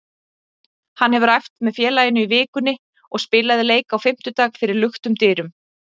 Hann hefur æft með félaginu í vikunni og spilaði leik á fimmtudag fyrir luktum dyrum.